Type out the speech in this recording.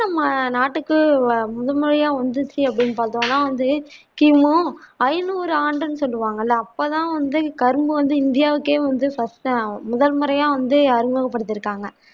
நம்ம நாட்டுக்கு முதல் முறையா வந்திச்சி அப்பிடின்னு பாத்தோம்னா வந்து கி. மு ஐநூறு ஆண்டுன்னு சொல்லுவாங்கல்ல அப்ப தான் வந்து கரும்பு வந்து இந்தியாவிட்கே வந்து first ஆ முதல் முறையா வந்து அறிமுகம் படித்திருக்காங்க